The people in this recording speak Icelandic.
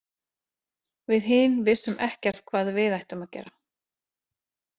Við hin vissum ekkert hvað við ættum að gera.